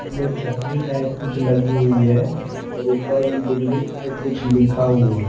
में छतरी टाइप कुछ लगी हुई है और ऊपर बिल्डिंग पे कुछ लिखा हुआ--